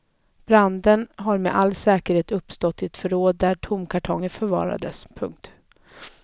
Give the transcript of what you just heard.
Branden har med all sannolikhet uppstått i ett förråd där tomkartonger förvarades. punkt